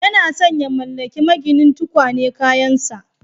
Yana son ya mallaki maginin tukwane kayansa